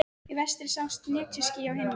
Í vestri sjást netjuský á himni.